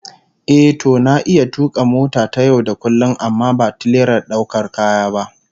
Ehh, to na iya tuka mota ta yau da kullum amma ba tirelar daukar kaya ba